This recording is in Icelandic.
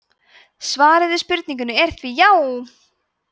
svarið við spurningunni er því já!